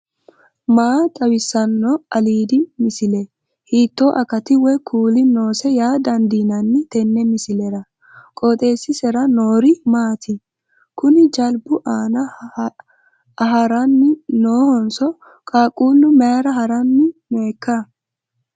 maa xawissanno aliidi misile ? hiitto akati woy kuuli noose yaa dandiinanni tenne misilera? qooxeessisera noori maati? kuni jalbu aan ahranni noohonso qqaaqu mayra haranni nooikka